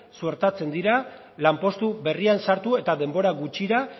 suertatzen dira lanpostu berrian sartu eta denbora gutxira